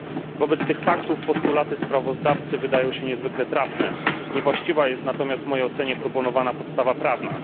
Wobec tych faktów postulaty sprawozdawcy wydają się niezwykle trafne, niewłaściwa jest natomiast w mojej ocenie proponowana podstawa prawna.